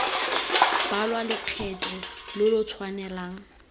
balwa lokgetho lo lo tshwanelang